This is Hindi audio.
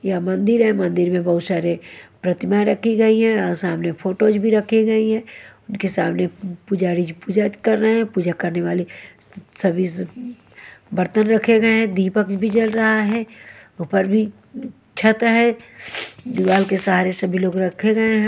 यह मंदिर है मंदिर में बहुत सारे प्रतिमाएँं रखी गई है और सामने फोटोज भी रखी गई हैं उनके सामने पुजारी जी पूजा कर रहे हैं पूजा करने वाले सभी बर्तन रखे गए हैं दीपक भी जल रहा है ऊपर भी छत है दीवाल के सहारे सभी लोग रखे गए हैं।